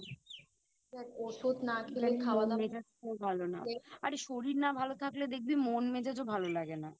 আর শরীর না ভালো থাকলে দেখবি মন মেজাজও ভালো লাগে না